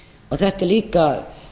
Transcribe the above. þetta er líka